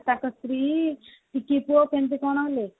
କେମିତି କଣ ହେଲେ